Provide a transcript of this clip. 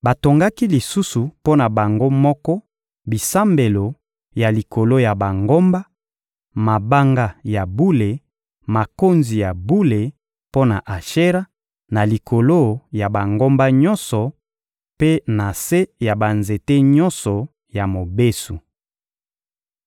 Batongaki lisusu mpo na bango moko bisambelo ya likolo ya bangomba, mabanga ya bule, makonzi ya bule mpo na Ashera na likolo ya bangomba nyonso mpe na se ya banzete nyonso ya mobesu.